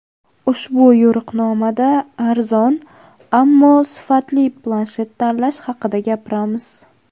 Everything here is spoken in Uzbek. Ushbu yo‘riqnomada arzon, ammo sifatli planshet tanlash haqida gapiramiz.